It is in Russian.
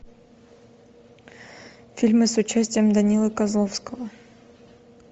фильмы с участием данилы козловского